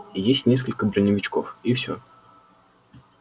есть несколько броневичков и всё